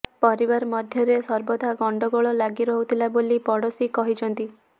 ପରିବାର ମଧ୍ୟରେ ସର୍ବଦା ଗଣ୍ଡଗୋଳ ଲାଗି ରହୁଥିଲା ବୋଲି ପଡୋଶୀ କହିଛନ୍ତି